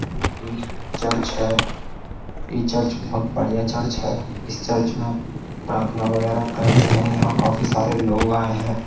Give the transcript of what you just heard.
ये एक चर्च है ये चर्च बहुत बढ़िया चर्च है इस चर्च में प्रार्थना वगैरह करते हैं यहाँ काफी सारे लोग आए हैं।